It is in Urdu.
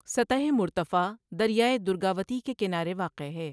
سطح مرتفع دریائے درگاوتی کے کنارے واقع ہے۔